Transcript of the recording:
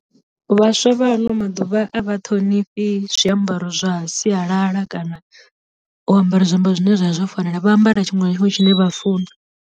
Vhaswa vha ano maḓuvha a vha ṱhonifhi zwiambaro zwa sialala kana u ambara zwiambaro zwine zwa vha zwo fanela vha ambara tshiṅwe na tshiṅwe tshine vha funa.